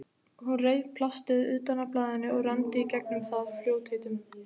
Hún reif plastið utan af blaðinu og renndi í gegnum það í fljótheitum.